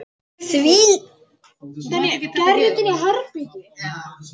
Þvílík upphefð og traust.